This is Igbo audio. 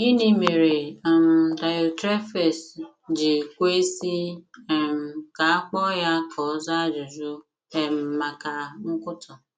Gịnị mere um Diotrephes ji kwesị um ka a kpọọ ya ka ọ zaa ajụjụ um maka nkwutọ?